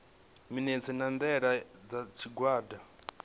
minetse na ndaela dza tshigwada